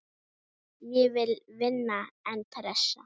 Ég vil vinna, en pressa?